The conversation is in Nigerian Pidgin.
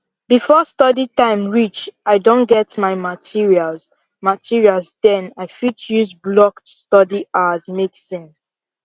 before study time reach i don get my materials materials den i fit use blocked study hours make sense